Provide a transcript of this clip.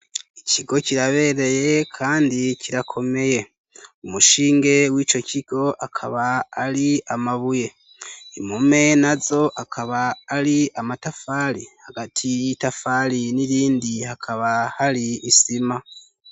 Ikigo kirabereye, kandi kirakomeye umushinge w'ico kigo akaba ari amabuye impome na zo akaba ari amatafali hagati y'itafali n'irindi hakaba hari isima.